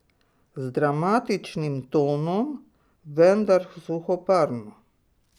Z dramatičnim tonom, vendar suhoparno.